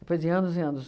Depois de anos e anos...